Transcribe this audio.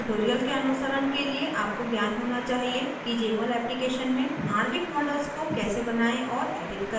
इस tutorial के अनुसरण के लिए आपको ज्ञान होना चाहिए कि jmol application में आणविक models को कैसे बनायें और edit करें